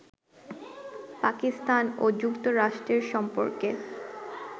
পাকিস্তান ও যুক্তরাষ্ট্রের সম্পর্কে